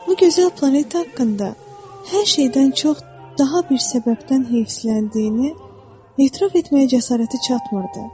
Bu gözəl planet haqqında hər şeydən çox daha bir səbəbdən heysləndiyini etiraf etməyə cəsarəti çatmırdı.